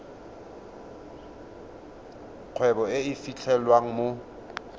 kgwebo e e fitlhelwang mo